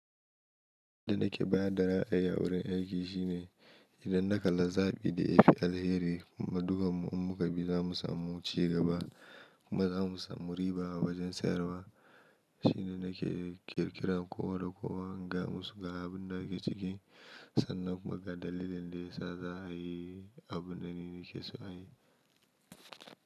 Yanda nake bayar da ra’ayi a wurin aiki shine idan na kalla zaɓi da yafi alheri kuma duk mu ummuƙa bi zamu samu ci gaba kuma za mu samu riba a wajen siyarwa. Shi ne nake ƙirƙira kowa da kowa ga musu ga abin da ke cikin sannan kuma gadon lilon da ya sa za’a yi abun da nake so a yi.